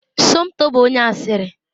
Somto bụ onye asịrị.